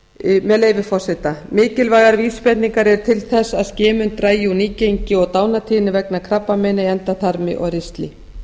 með leyfi forseta mikilvægar vísbendingar eru til þess að skimun dragi úr nýgengi og dánartíðni vegna krabbameina í endaþarmi og ristli